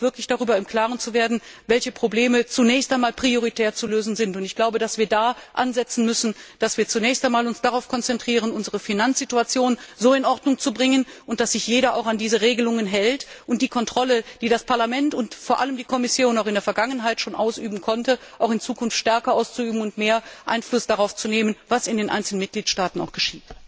ohne uns wirklich darüber im Klaren zu sein, welche Probleme zunächst einmal prioritär zu lösen sind. Da müssen wir ansetzen. Wir müssen uns zunächst einmal darauf konzentrieren, unsere Finanzsituation in Ordnung zu bringen, dafür zu sorgen, dass sich jeder auch an diese Regelungen hält, und die Kontrolle, die das Parlament und vor allem die Kommission auch in der Vergangenheit schon ausüben konnte, auch in Zukunft stärker auszuüben und mehr Einfluss darauf zu nehmen, was in den einzelnen Mitgliedstaaten geschieht.